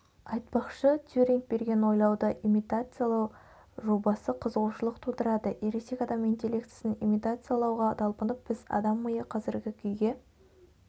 айтпақшы тьюринг берген ойлауды имитациялау жобасы қызығушылық тудырады ересек адам интеллектісін имитациялауға талпынып біз адам миы қазіргі күйге